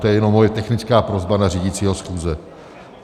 To je jenom moje technická prosba na řídícího schůze.